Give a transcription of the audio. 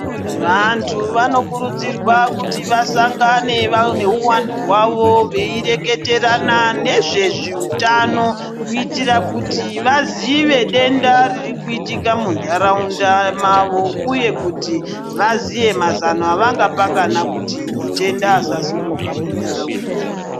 Vantu vanokurudzirwe kuti vasangane nehuwandu hwavo veireketerana nezveutano kuitira kuti vaziye denda ririkuitika muntaraunda mavo uye kuti vaziye mazano avangapangana kuti matenda asasimuka muntaraunda .